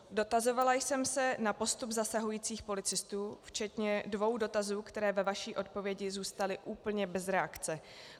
Dotazovala jsem se na postup zasahujících policistů včetně dvou dotazů, které ve vaší odpovědi zůstaly úplně bez reakce.